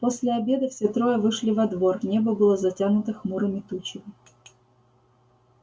после обеда все трое вышли во двор небо было затянуто хмурыми тучами